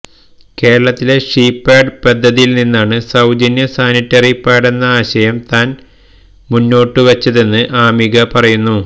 കേരളത്തിലെ she pad പദ്ധതിയിൽനിന്നാണ് സൌജന്യ സാനിറ്ററി പാഡെന്ന ആശയം താൻ മുന്നോട്ടുവെച്ചതെന്ന് അമിക പറയുന്നു